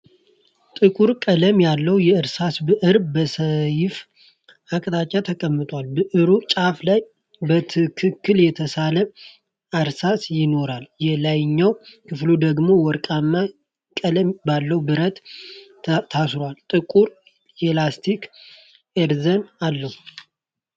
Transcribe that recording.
ጥቁር ቀለም ያለው የእርሳስ ብዕር በሰያፍ አቅጣጫ ተቀምጧል። ብዕሩ ጫፍ ላይ በትክክል የተሳለ እርሳስ ሲኖረው፣ የላይኛው ክፍል ደግሞ ወርቃማ ቀለም ባለው ብረት ታስሮ ጥቁር የላስቲክ ኢሬዘር አለው።